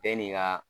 Bɛɛ n'i ka